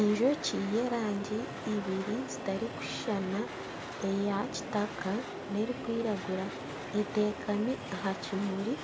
Enjoki y'erangi ibiri zitarikushushana eya kitaka nana erikwiragura etekami aha kimuri